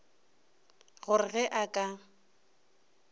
go re ge a ka